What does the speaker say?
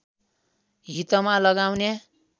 हितमा लगाउने